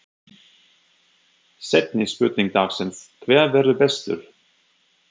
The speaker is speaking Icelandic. Seinni spurning dagsins: Hver verður bestur?